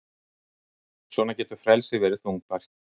Svona getur frelsið verið þungbært.